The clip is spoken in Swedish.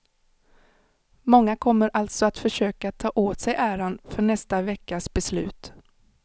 Många kommer alltså att försöka ta åt sig äran för nästa veckas beslut.